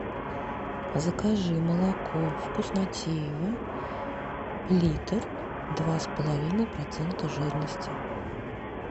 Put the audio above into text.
закажи молоко вкуснотеево литр два с половиной процента жирности